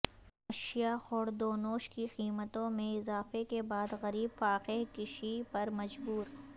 اشیا خوردونوش کی قیمتوں میں اضافے کے بعد غریب فاقہ کشی پر مجبور